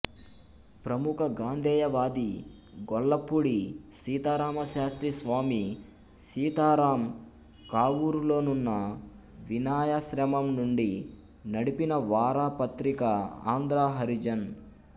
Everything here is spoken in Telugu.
ప్రముఖ గాంధేయవాది గొల్లపూడి సీతారామశాస్త్రి స్వామి సీతారాం కావూరులోనున్న వినయాశ్రమం నుండి నడిపిన వారపత్రిక ఆంధ్ర హరిజన్